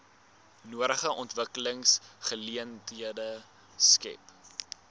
nodige ontwikkelingsgeleenthede skep